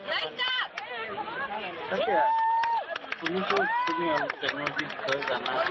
তাকে, এইব~ ৱ~ শুনিছোঁ তুমি অলপ technology বিষয়ে জানা।